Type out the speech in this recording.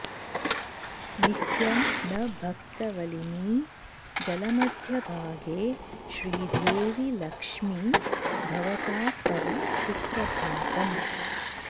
नित्यं न भक्तवलिनी जलमध्यभागे श्रीदेवि लक्ष्मि भवतात्तव सुप्रभातम्